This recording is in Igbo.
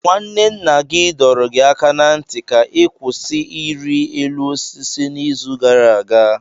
Nwanne nna gị dọrọ gị aka ná ntị ka ị kwụsị ịrị elu osisi n'izu gara aga.